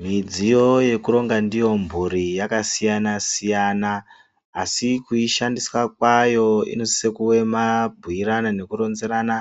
Midziyo yokuronga ndiyo mhuri yakasiyana siyana asi kuishandisa kwavo inosisa kunge mabhuirana nekuronzerana